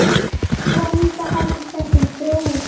Vonandi heldur þessi þróun áfram.